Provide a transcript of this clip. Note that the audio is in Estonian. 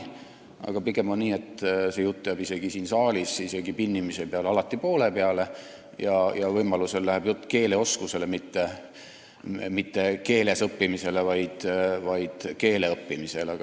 Aga pigem on nii, et see jutt jääb isegi siin saalis, isegi pinnimise peale alati poole peale ja võimalusel läheb jutt keeleoskusele, mitte ühes või teises keeles õppimisele, vaid keeleõppimisele.